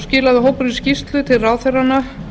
skilaði hópurinn skýrslu til ráðherranna